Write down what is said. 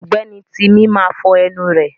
Ọ̀gbẹ́ni tímí máa fọ ẹnu rẹ̀.